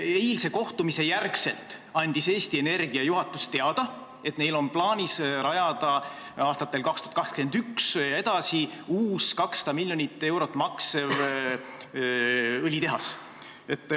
Eilse kohtumise järel andis Eesti Energia juhatus teada, et neil on plaanis rajada aastatel 2021 ja edasi uus, 200 miljonit eurot maksev õlitehas.